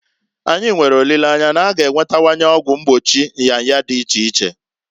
Anyi nwere olileanya na- a ga enwetawanye ọgwụ mgbochi nyanya dị iche iche.